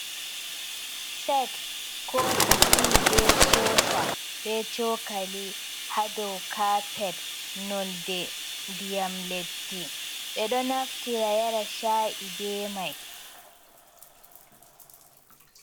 Set kofi ti be sosa, be cokali ha dou kapet, nonde diyam leddi, ɓedon naftira yara sha’i be mai.